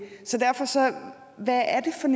der er